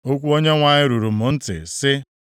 Okwu Onyenwe anyị ruru m ntị, sị,